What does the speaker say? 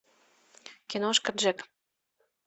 киношка джек